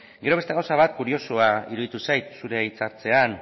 gero beste gauza bat kuriosoa iruditu zait zure hitz hartzean